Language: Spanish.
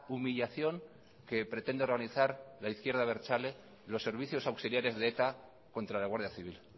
humillación que pretende organizar la izquierda abertzale los servicios auxiliares de eta contra la guardia civil